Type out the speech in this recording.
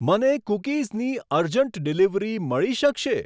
મને કૂકીઝની urgent delivery મળી શકશે?